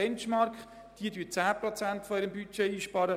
Diese sparen 10 Prozent ihres Budgets ein.